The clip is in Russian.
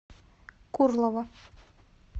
курлово